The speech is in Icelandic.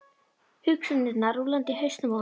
Hugsanirnar rúllandi í hausnum á honum.